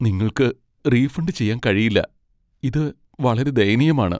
നിങ്ങൾക്ക് റീഫണ്ട് ചെയ്യാൻ കഴിയില്ല, ഇത് വളരെ ദയനീയമാണ്.